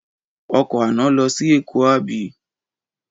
Ọkọ̀ àná lọ sí Èkó àbí?